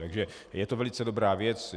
Takže je to velice dobrá věc.